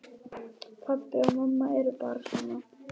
Pabbi og mamma eru bara svona.